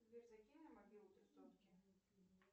сбер закинь на мобилу три сотки